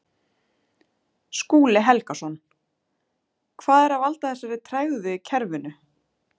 Skúli Helgason: Hvað er að valda þessari tregðu í kerfinu?